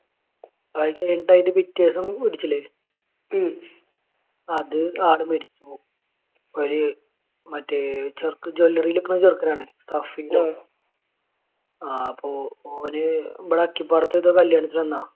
ആ ഇക്ക ആയിട്ട് പിറ്റേ ദിവസം ഇടിച്ചില്ലേ. അത് ആൾ മരിച്ച് പോയി. ഒരു മറ്റേ ഒരു ചെക്ക് jewelry യിൽ നിൽക്കുന്ന ചെറുക്കാനാണേ. സഫീർ. ആഹ് അപ്പൊ ഓന് ഇവിടെ അച്ചിപ്പാടത്തെന്തോ കല്യാണത്തിന് വന്നതാണ്.